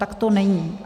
Tak to není.